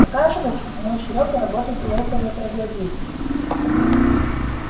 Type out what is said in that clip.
оказывается мой серёга работает у этого троглодита